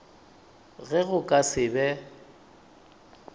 ge go ka se be